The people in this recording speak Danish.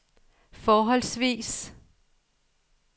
forholdsvis